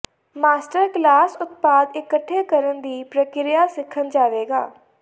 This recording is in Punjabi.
ਮਾਸਟਰ ਕਲਾਸ ਉਤਪਾਦ ਇਕੱਠੇ ਕਰਨ ਦੀ ਪ੍ਰਕਿਰਿਆ ਸਿੱਖਣ ਜਾਵੇਗਾ